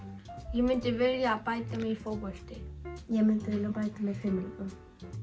ég myndi vilja bæta mig í fótbolta ég myndi vilja bæta mig í fimleikum